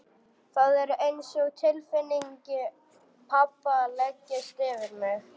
Það er einsog tilfinning pabba leggist yfir mig.